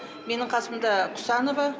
менің қасымда құсанова